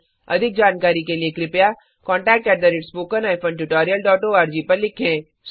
अधिक जानकारी के लिए contactspoken tutorialorg पर लिखें